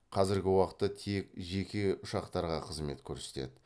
қазіргі уақытта тек жеке ұшақтарға қызмет көрсетеді